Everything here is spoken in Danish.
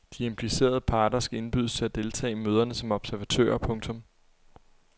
De implicerede parter skal indbydes til at deltage i møderne som observatører. punktum